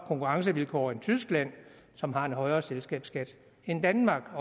konkurrencevilkår end tyskland som har en højere selskabsskat end danmark